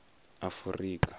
afurika